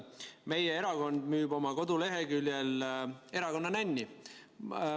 Meie erakond müüb oma koduleheküljel erakonna nänni.